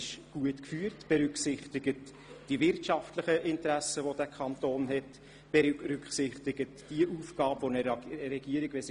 Es berücksichtigt auch die wirtschaftlichen Interessen unseres Kantons und fragt, wo die Chancen und die Risiken liegen.